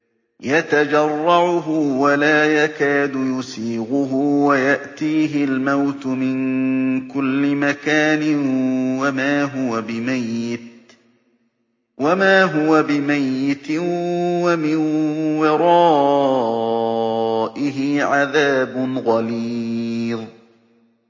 يَتَجَرَّعُهُ وَلَا يَكَادُ يُسِيغُهُ وَيَأْتِيهِ الْمَوْتُ مِن كُلِّ مَكَانٍ وَمَا هُوَ بِمَيِّتٍ ۖ وَمِن وَرَائِهِ عَذَابٌ غَلِيظٌ